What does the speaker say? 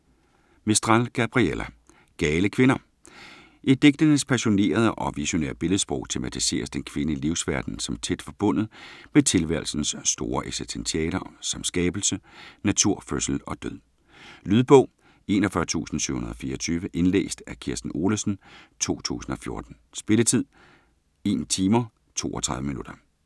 Mistral, Gabriela: Gale kvinder I digtenes passionerede og visionære billedsprog tematiseres den kvindelige livsverden som tæt forbundet med tilværelsens store eksistentialer som skabelse, natur, fødsel og død. Lydbog 41724 Indlæst af Kirsten Olesen, 2014. Spilletid: 1 timer, 32 minutter.